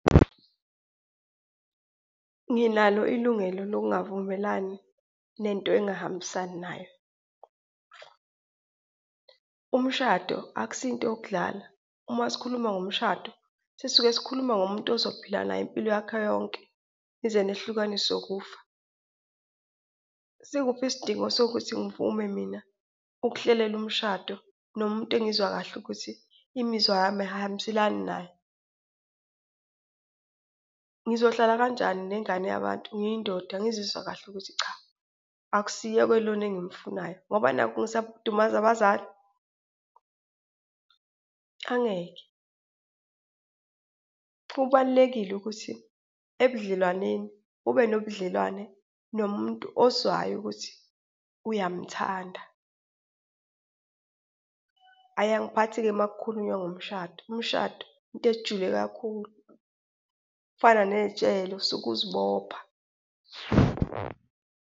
Nginalo ilungelo lokungavumelani nento engahambisani nayo. Umshado akusiyinto yokudlala, uma sikhuluma ngomshado, sisuke sikhuluma ngomuntu ozophila naye impilo yakhe yonke, nize nihlukaniswe ukufa. Sikuphi isidingo sokuthi ngivume mina ukuhlelela umshado nomuntu engizwa kahle ukuthi imizwa yami ayihambiselani naye? Ngizohlala kanjani nengane yabantu ngiyindoda, ngizizwa kahle ukuthi cha, akusiye-ke lona engimfunayo ngoba nakhu ngisaba ukudumaza abazali? Angeke, kubalulekile ukuthi ebudlelwaneni, ube nobudlelwane nomuntu ozwayo ukuthi uyamuthanda. Hhayi, angiphathi-ke uma kukhulunywa ngomshado, umshado into ejule kakhulu, kufana nejele, usuke uzibopha.